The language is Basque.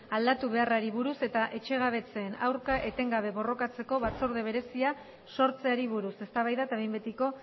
aldatu beharrari buruz eta etxegabetzeen aurka etengabe borrokatzeko batzorde berezia sortzeari buruz eztabaida eta behin betiko